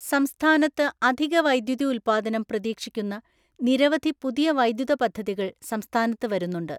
സംസ്ഥാനത്ത് അധിക വൈദ്യുതി ഉൽപ്പാദനം പ്രതീക്ഷിക്കുന്ന നിരവധി പുതിയ വൈദ്യുത പദ്ധതികൾ സംസ്ഥാനത്ത് വരുന്നുണ്ട്.